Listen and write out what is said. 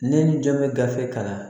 Ne ni jɔn bɛ gafe kalan